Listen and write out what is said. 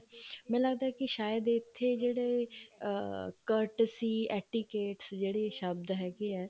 ਮੈਨੂੰ ਲੱਗਦਾ ਕੀ ਸ਼ਾਇਦ ਇੱਥੇ ਜਿਹੜੇ ਅਮ cut ਸੀ abdicates ਜਿਹੜੇ ਸ਼ਬਦ ਹੈਗੇ ਆ